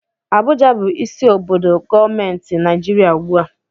Abuja bụ isi obodo gọọmenti Naịjirịa ugbu a